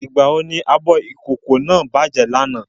Ìgbà wo ní abọ ìkókó náà bàjẹ́ ní àná?